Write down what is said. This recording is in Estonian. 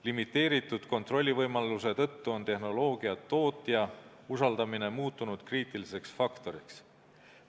Limiteeritud kontrollivõimaluse tõttu on tehnoloogia tootja usaldamine muutunud kriitiliseks faktoriks.